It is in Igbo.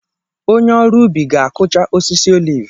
Onye ọrụ ubi ga-akụcha osisi oliv.